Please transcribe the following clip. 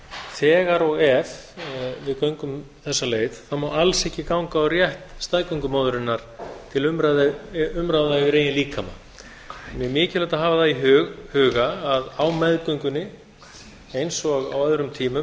þegar og ef við göngum þessa leið þá má alls ekki ganga á rétt staðgöngumóðurinnar til umráða yfir eigin líkama það er mikilvægt að hafa það í huga að á meðgöngunni eins og á öðrum tímum